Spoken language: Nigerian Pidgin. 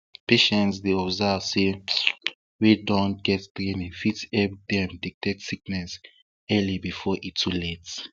patients dey advised say chws wey don get training fit help dem detect sickness early before e too late